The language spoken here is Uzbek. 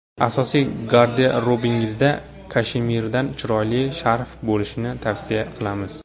Asosiy garderobingizda kashemirdan chiroyli sharf ham bo‘lishini tavsiya qilamiz.